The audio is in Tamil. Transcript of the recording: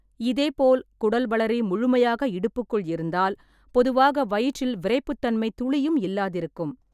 இதேபோல், குடல்வளரி முழுமையாக இடுப்புக்குள் இருந்தால், பொதுவாக வயிற்றில் விறைப்புத்தன்மை துளியும் இல்லாதிருக்கும்.